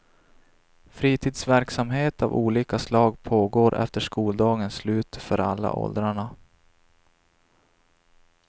Fritidsverksamhet av olika slag pågår efter skoldagens slut för alla åldrarna.